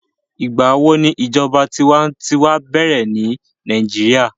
Nigbawo ni ijọba tiwantiwa bẹrẹ ni Nigeria?